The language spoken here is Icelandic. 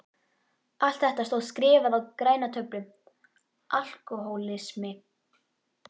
Allt þetta stóð skrifað á græna töflu: Alkohólismi.